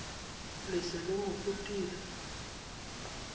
le se le mo rutile